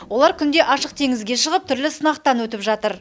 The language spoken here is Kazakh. олар күнде ашық теңізге шығып түрлі сынақтан өтіп жатыр